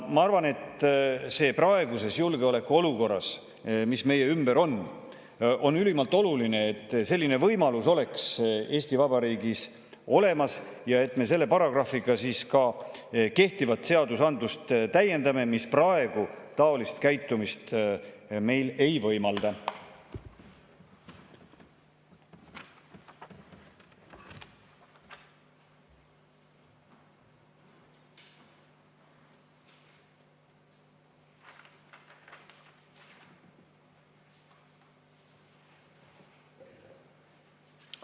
Ma arvan, et praeguses julgeolekuolukorras, mis meie ümber on, on ülimalt oluline, et selline võimalus oleks Eesti Vabariigis olemas ja et me kehtivat seadusandlust, mis praegu taolist käitumist meile ei võimalda, selle paragrahviga ka täiendaksime.